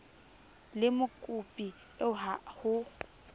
le mokopi eo ha ho